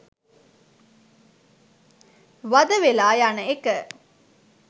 වඳ වෙලා යන එක